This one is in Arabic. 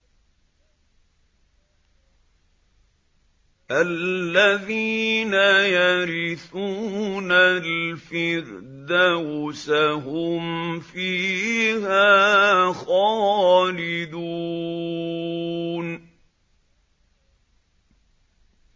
الَّذِينَ يَرِثُونَ الْفِرْدَوْسَ هُمْ فِيهَا خَالِدُونَ